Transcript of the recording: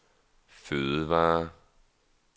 fødevarer